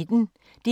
DR P1